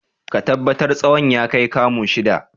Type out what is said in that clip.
Ka tabbatar tsawon ya kai kamu shida!